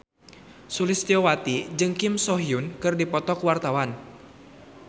Sulistyowati jeung Kim So Hyun keur dipoto ku wartawan